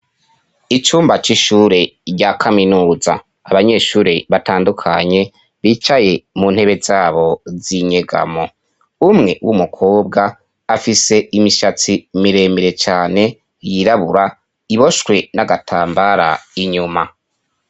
icumba c'ishure rya kaminuza, har' abanyeshure bambay' impuzu zitandukanye bicaye mu ntebe zabo z'inyegamo, umwe w'umukobw' afis' imishatsi miremire cane yirabur' iboshwe n'agatambara kera, imbere yabo har' umwarim' arikubigisha.